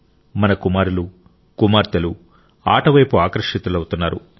మన కుమారులు కుమార్తెలు ఆట వైపు ఆకర్షితులవుతున్నారు